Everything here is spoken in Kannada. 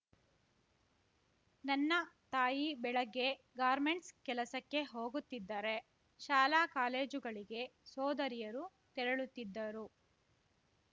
ನನ್ನ ತಾಯಿ ಬೆಳಗ್ಗೆ ಗಾರ್ಮೆಂಟ್ಸ್‌ ಕೆಲಸಕ್ಕೆ ಹೋಗುತ್ತಿದ್ದರೆ ಶಾಲಾಕಾಲೇಜುಗಳಿಗೆ ಸೋದರಿಯರು ತೆರಳುತ್ತಿದ್ದರು